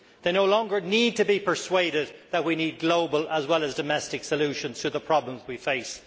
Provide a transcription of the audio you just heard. They no longer need to be persuaded that we need global as well as domestic solutions to the problems we face.